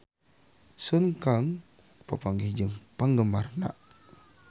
Sun Kang papanggih jeung penggemarna